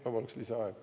Ma palun lisaaega.